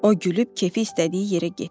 O gülüb kefi istədiyi yerə getdi.